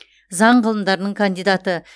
заң ғылымдарының кандидаты